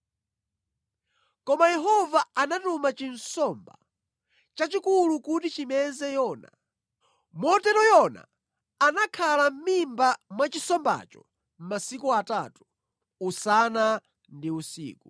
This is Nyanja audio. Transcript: Koma Yehova anatuma nsomba yayikulu kuti imeze Yona. Motero Yona anakhala mʼmimba mwa nsombayo masiku atatu, usana ndi usiku.